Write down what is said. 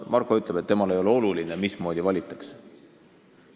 Marko ütleb, et temale ei ole oluline, mismoodi valitakse.